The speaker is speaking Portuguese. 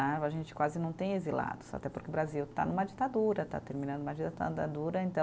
A gente quase não tem exilados, até porque o Brasil está numa ditadura, está terminando uma dita da dura, então